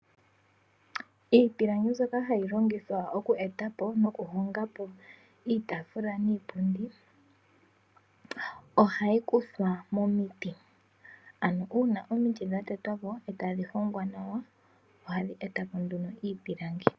Iipilangi mboka hayilongithwa okueta po nokuhonga po iitaafula niipundi ohayi kuthwa momiti, ano uuna omiti dhatetwa po e tadhihongwa nawa ohadhi eta po nduno iipilangi.